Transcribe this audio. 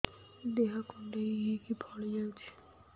ଦେହ କୁଣ୍ଡେଇ ହେଇକି ଫଳି ଯାଉଛି